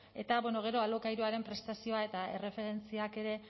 eta gero alokairuaren prestazioa eta erreferentziak ere